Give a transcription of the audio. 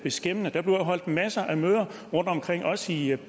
beskæmmende der bliver jo holdt masser af møder rundtomkring også i